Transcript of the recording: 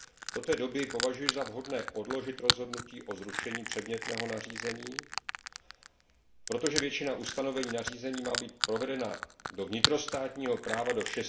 Do té doby považuji za vhodné odložit rozhodnutí o zrušení předmětného nařízení, protože většina ustanovení nařízení má být provedena do vnitrostátního práva do